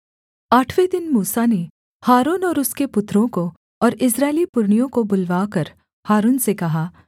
आठवें दिन मूसा ने हारून और उसके पुत्रों को और इस्राएली पुरनियों को बुलवाकर हारून से कहा